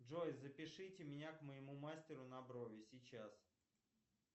джой запишите меня к моему мастеру на брови сейчас